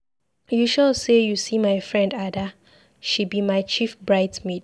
You sure say you see my friend Ada, she be my chief bride's maid.